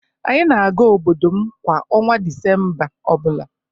Anyị na-aga obodo m kwa ọnwa Disemba o bula.